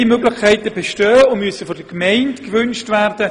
Beide Möglichkeiten bestehen und müssen von der Gemeinde gewünscht werden.